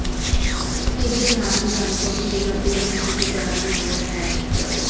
ਇਸ ਦੇ ਨਾਲ ਹੀ ਤੁਹਾਨੂੰ ਸੋਟੀ ਦੇ ਖੱਬੇ ਅੰਤ ਚੁੱਕ ਕਰਨ ਦੀ ਲੋੜ ਹੈ